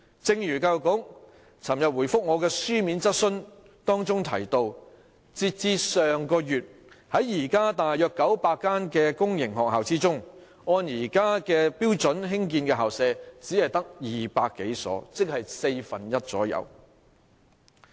正如教育局昨天回覆我的書面質詢提到，截至上月，在現時約900間公營學校中，按現行標準興建的校舍只有200多所，即大約四分之一。